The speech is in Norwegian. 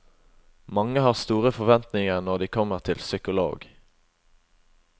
Mange har store forventninger når de kommer til psykolog.